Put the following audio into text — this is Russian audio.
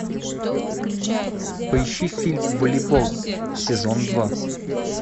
поищи фильм волейбол сезон два